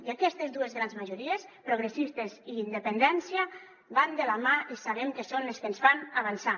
i aquestes dues grans majories progressistes i independència van de la mà i sabem que són les que ens fan avançar